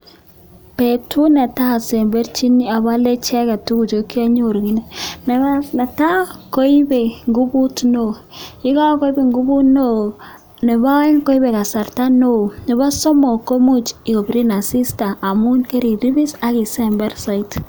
Betut netai asemberchin, abale icheket tuguchu kianyoru kiini, netai, koipe nguvut neo, ye kakoip nguvut neo, nebo aeng, koipe kasarta neo, nebo somok, komuch kopirin asista amun keriripis ak isember saidi.